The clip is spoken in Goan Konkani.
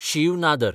शीव नादर